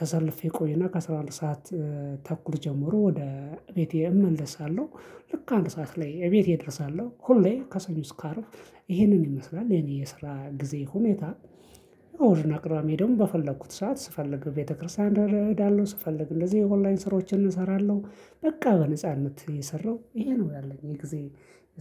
ተሰልፌ ቆይና ከአስራ አንድ ሰዓት ተኩል ጀምሮ ወደ ቤቴ እመለሳለሁ። ልክ አንድ ሰዓት ላይ እቤቴ እደርሳለሁ ሁሌ ከሰኞ እስከ አርብ ይሄንን ይመስላል የኔ የስራ ጊዜ ሁኔታ። እሁድ አቅራቢ ሄዶ በፈለኩት ሰዓት ስፈልግ ቤተክርስቲያን እሄዳለሁ ስፈልግ እንደዚህ የኦንላይን ስራዎችን እሰራለሁ። በቃ በነጻነት እየሰራው ይሄ ነው ያለኝ የጊዜ